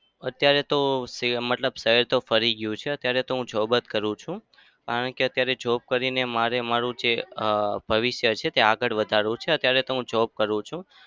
અત્યારે તો મતલબ ફરી ગયું છે અત્યારે તો હું job જ કરું છું. કારણ કે અત્યારે job કરીને મારે મારું ભવિષ્ય આગળ વધારવું છે. અત્યારે તો હું job કરું છું.